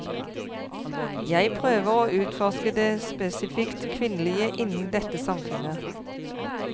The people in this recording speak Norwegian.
Jeg prøver å utforske det spesifikt kvinnelige innen dette samfunnet.